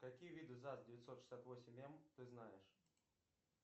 какие виды заз девятьсот шестьдесят восемь м ты знаешь